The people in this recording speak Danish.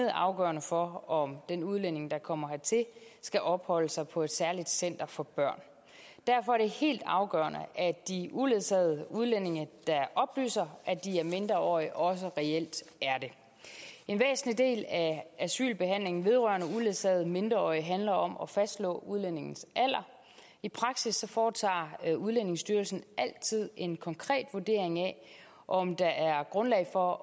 er afgørende for om den udlænding der kommer hertil skal opholde sig på et særligt center for børn derfor er det helt afgørende at de uledsagede udlændinge der oplyser at de er mindreårige også reelt er det en væsentlig del af asylbehandlingen vedrørende uledsagede mindreårige handler om at fastslå udlændingens alder i praksis foretager udlændingestyrelsen altid en konkret vurdering af om der er grundlag for